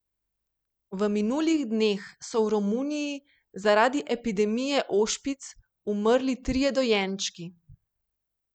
V minulih dneh so v Romuniji zaradi epidemije ošpic umrli trije dojenčki.